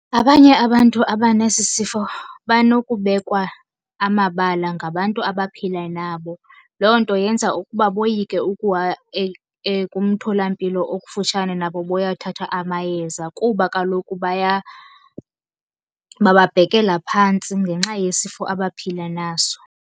Abanye abantu abanesi sifo banokubekwa amabala ngabantu abaphila nabo. Loo nto yenza ukuba boyike kumtholampilo okufutshane nabo bayothatha amayeza kuba kaloku bababhekela phantsi ngenxa yesifo abaphila naso.